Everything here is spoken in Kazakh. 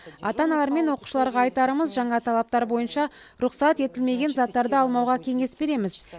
ата аналар мен оқушыларға айтарымыз жаңа талаптар бойынша рұқсат етілмеген заттарды алмауға кеңес береміз